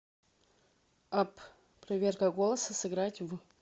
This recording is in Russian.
апп проверка голоса сыграть в